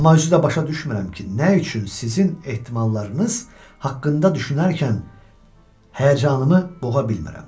amma özü də başa düşmürəm ki, nə üçün sizin ehtimallarınız haqqında düşünərkən həyəcanımı boğa bilmirəm.